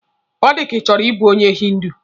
Ọ dịka Ị chọrọ ịbụ onye hindu.